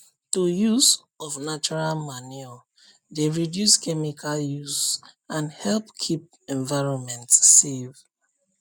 to use of natural manure dey reduce chemical use and help keep environment safe